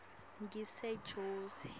ngisejozi